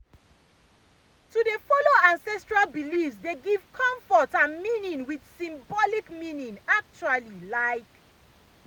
to dey follow ancestral beliefs dey give comfort and meaning with symbolic meaning actually like.